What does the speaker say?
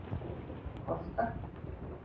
Kolka